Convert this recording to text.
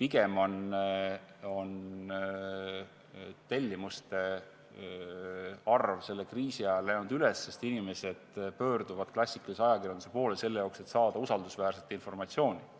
pigem on tellimuste arv selle kriisi ajal läinud üles, sest inimesed pöörduvad klassikalise ajakirjanduse poole, selle jaoks et saada usaldusväärset informatsiooni.